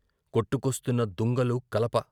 కొట్టుకొస్తున్న దుంగలు, కలప.